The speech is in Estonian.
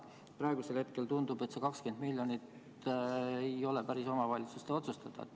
Praegu tundub, et see 20 miljonit ei ole päris omavalitsuste otsustada.